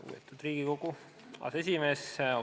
Lugupeetud Riigikogu aseesimees!